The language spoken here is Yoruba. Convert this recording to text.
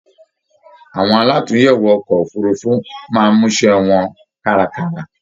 Awọn àlatúnyẹwò ọkọ òfurùnfu máa n musẹ wọn karakara